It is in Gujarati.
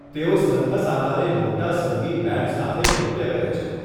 તેઓ સરઘસ આકારે મોટા સંગીત બેન્ડ્સ સાથે નૃત્ય કરે છે.